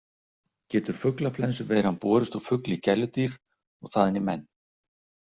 Getur fuglaflensuveiran borist úr fugli í gæludýr og þaðan í menn?